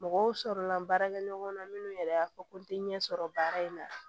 Mɔgɔw sɔrɔla la baarakɛ ɲɔgɔn na minnu yɛrɛ y'a fɔ ko n te ɲɛ sɔrɔ baara in na